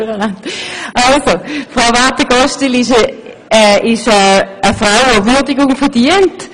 Frau Marthe Gosteli ist eine Frau, die Würdigung verdient.